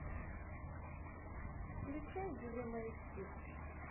включай дилемма эйч ди